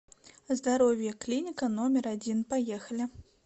здоровье клиника номер один поехали